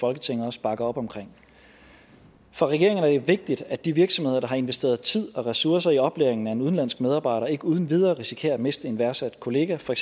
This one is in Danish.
folketinget også bakker op om for regeringen er det vigtigt at de virksomheder der har investeret tid og ressourcer i oplæringen af en udenlandsk medarbejder ikke uden videre risikerer at miste en værdsat kollega for